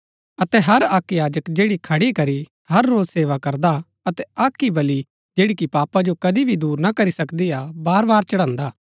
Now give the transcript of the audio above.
अतै हर अक्क याजक जैडा खडी करी हर रोज सेवा करदा अतै अक्क ही बलि जैड़ी कि पापा जो कदी भी दूर ना करी सकदी हा बारबार चढ़न्‍दा